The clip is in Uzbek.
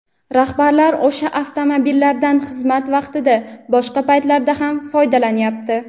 rahbarlar o‘sha avtomobillardan xizmat vaqtidan boshqa paytlarda ham foydalanyapti.